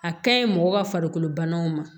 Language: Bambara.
A ka ɲi mɔgɔ ka farikolo banaw ma